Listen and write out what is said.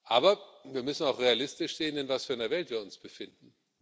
Aber wir müssen auch realistisch sehen, in was für einer Welt wir uns befinden.